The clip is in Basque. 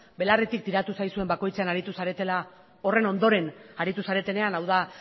belarritik tiratu zaizuen bakoitzean aritu zaretela horren ondoren aritu zaretenean hau da